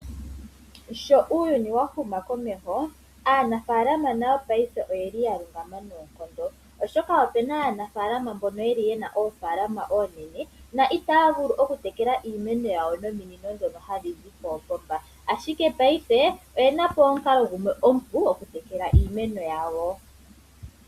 Sho uuyuni wa huma komeho aanafaalama nayo paife oyeli yalungama noonkondo oshoka opena aanafaalama mboka yena oofaalama oonene na otaa vulu oku tekela iimeno yawo nominono ndhono hadhizi koopomba ashike paife oyenapo omukalo gumwe omupu okutekela iimeno yawo.